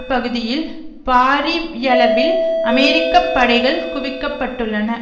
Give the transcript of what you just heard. பகுதியில் பாரியளவில் அமெரிக்க படைகள் குவிக்கப்பட்டுள்ளன